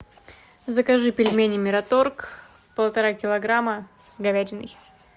закажи пельмени мираторг полтора килограмма с говядиной